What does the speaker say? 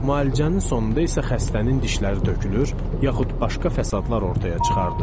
Müalicənin sonunda isə xəstənin dişləri tökülür, yaxud başqa fəsadlar ortaya çıxardı.